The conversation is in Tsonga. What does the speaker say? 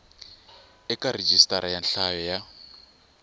eka rhijisitara ra nhlayo ya